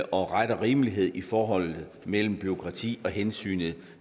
og ret og rimelighed i forholdet mellem bureaukrati og hensynet